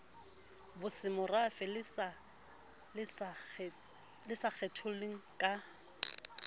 bosemorafe le sa kgetholleng ka